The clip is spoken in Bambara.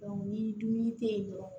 ni dumuni te yen dɔrɔn